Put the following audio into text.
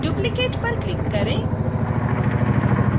duplicate पर click करें